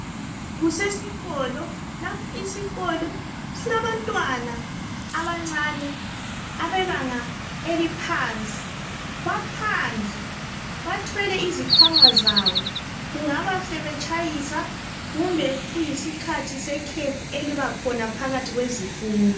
Kusesikolo lapha isikolo silabantwana abancane abebanga eliphansi. Baphandle bathwele izikhwama zabo. Kungaba sebetshayisa kumbe kuyisikhathi sekhefu eliba khona phakathi kwezifundo.